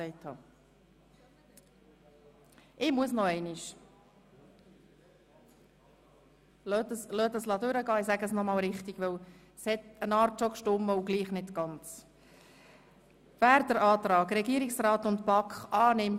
Wenn es keine Wortmeldungen seitens von Einzelsprechern mehr gibt, erteile ich Regierungsrätin Egger das Wort.